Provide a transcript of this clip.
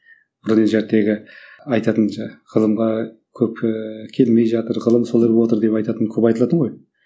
бұл енді айтатын ғылымға көп ііі келмей жатыр ғылым солай болыватыр деп айтатын көп айтылады ғой